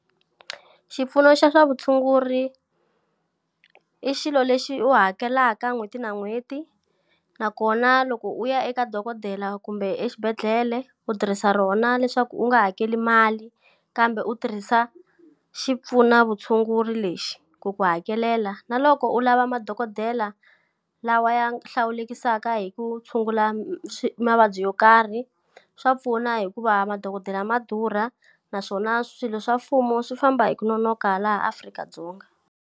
Xipfuno xa swa vutshunguri i xilo lexi u hakelaka n'hweti na n'hweti, nakona loko u ya eka dokodela kumbe exibedhlele u tirhisa rona leswaku u nga hakeli mali kambe u tirhisa xipfunavutshunguri lexi ku ku hakelela. Na loko u lava madokodela lawa ya hlawulekisaka hi ku tshungula mavabyi yo karhi, swa pfuna hikuva madokodela ma durha naswona swilo swa mfumo swi famba hi ku nonoka laha Afrika-Dzonga.